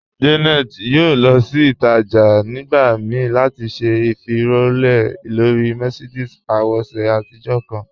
Janet yóò lọ sí títàjà̀ nígbà míí láti ṣẹ̀ ifilọlẹ̀ lọ̀rí Mercedes àwòṣè àtijọ̀ kan.